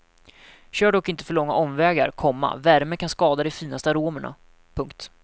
Kör dock inte för långa omgångar, komma värme kan skada de finaste aromerna. punkt